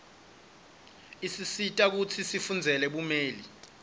isisita kutsi sifundzele bumeli